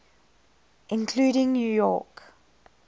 including new york